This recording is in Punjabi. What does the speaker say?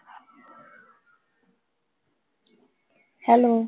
ਹੈਲੋ